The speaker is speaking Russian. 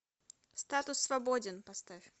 статус свободен поставь